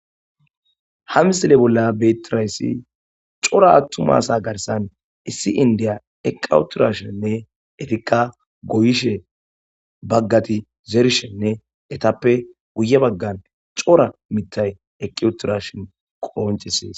Ha misile bolla betirayssi cora attumasa garsan issi indiya eqqauturashenne efika goyishe baggati zeershenne etappe guye baggan cora mitay eqqiuturashen qooncesees.